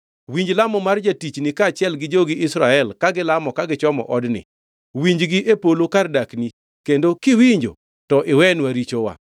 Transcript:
Winji lamo mar jatichni kaachiel gi jogi Israel ka gilamo ka gichomo odni. Winji gi e polo kar dakni, kendo kiwinjo, to iwenwa richowa.